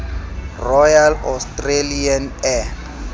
royal australian air